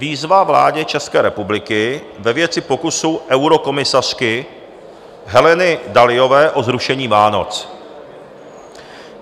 Výzva vládě České republiky ve věci pokusu eurokomisařky Heleny Dalliové o zrušení Vánoc.